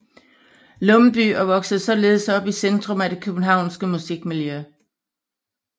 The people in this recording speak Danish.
Lumbye og voksede således op i centrum af det københavnske musikmiljø